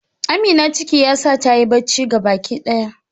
Amina ciki yasa tayi bacci gabaki daya.